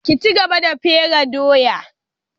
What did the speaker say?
Ki cigaba da fere doya!